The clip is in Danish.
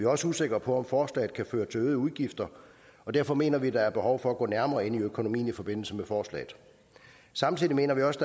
også usikre på om forslaget kan føre til øgede udgifter og derfor mener vi der er behov for at gå nærmere ind i økonomien i forbindelse med forslaget samtidig mener vi også